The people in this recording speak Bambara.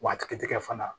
Wa a ti tigɛ fana